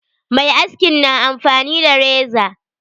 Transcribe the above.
Mai askin na amfani da reza.